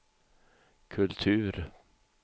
kultur